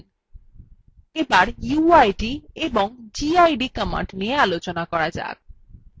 এখন uid এবং gid commands নিয়ে আলোচনা করা যাক